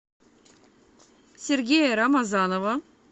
сергея рамазанова